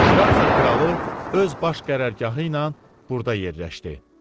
Fransa kralı öz baş qərargahı ilə burada yerləşdi.